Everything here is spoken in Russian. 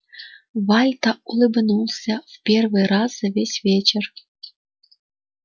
вальто улыбнулся в первый раз за весь вечер